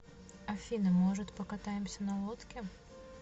афина может покатаемся на лодке